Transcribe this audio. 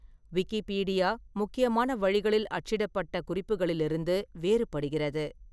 Wikipedia முக்கியமான வழிகளில் அச்சிடப்பட்ட குறிப்புகளிலிருந்து வேறுபடுகிறது.